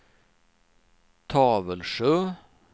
Tavelsjö